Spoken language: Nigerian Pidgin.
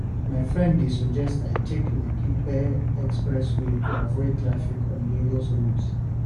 My friend dey suggest I take Lekki-Epe expressway to avoid traffic on Lagos roads.